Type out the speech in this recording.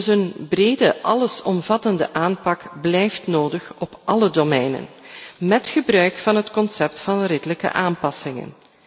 Een brede, allesomvattende aanpak blijft dus nodig op alle domeinen, met gebruik van het concept van redelijke aanpassingen.